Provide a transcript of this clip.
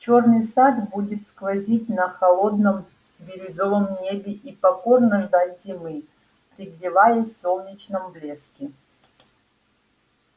чёрный сад будет сквозить на холодном бирюзовом небе и покорно ждать зимы пригреваясь в солнечном блеске